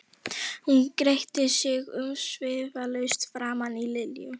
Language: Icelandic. Hún gretti sig umsvifalaust framan í Lillu.